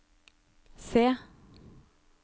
se